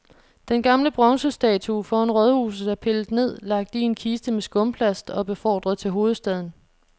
Den gamle bronzestatue foran rådhuset er pillet ned, lagt i en kiste med skumplast og befordret til hovedstaden.